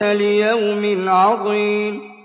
لِيَوْمٍ عَظِيمٍ